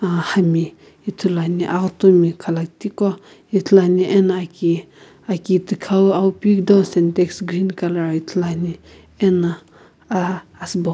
ahami ithulu ame aghutu mi khalakiti gho ithulu ame ano aki tikhow auo peu kida sentex green ithulu ane ano asiibo gholo.